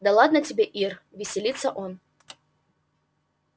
да ладно тебе ир веселится он